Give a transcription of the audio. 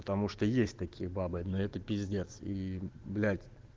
потому что есть такие бабы но это пиздец и блять